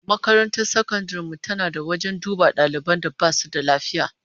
Makarantar sakandaren mu tana da wajen duba daliban da basu da lafiya